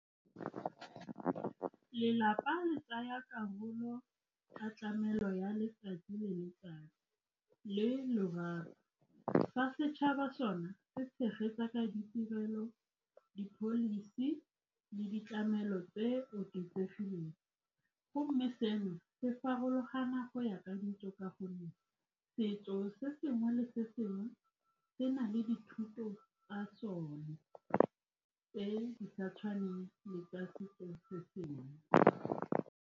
Lelapa le tsaya karolo ka tlamelo ya letsatsi le letsatsi le , fa setšhaba sone se tshegetsa ka ditirelo, di-policy le ditlamelo tse di oketsegileng, mme seno se farologana go ya ka , ka gonne setso se sengwe le se sengwe se na le dithuto tsa sone tse di sa tshwaneng le tsa setso se sengwe.